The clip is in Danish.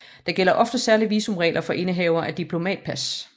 Der gælder ofte særlige visumregler for indehavere af diplomatpas